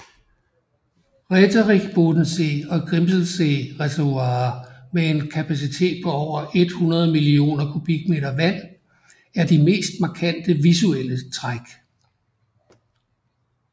Räterichbodensee og Grimselsee reservoirer med en kapacitet på over 100 millioner kubikmeter vand er de mest markante visuelle træk